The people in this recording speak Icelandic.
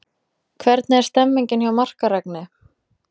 Hvernig er stemningin hjá Markaregni?